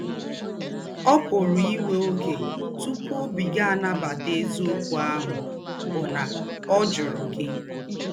Ọ́ pụ̀rà íwẹ́ ọ́gẹ́ túpụ̀ ọ́bí gị̀ ànabàtà èzí̄ǒkwụ́ àhụ́ bụ́ nà ọ́ jụ̀rụ̀ gị̀.